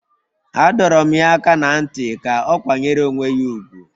A dọrọ m ya aka ná ntị ka ọ kwanyere onwe ya ùgwù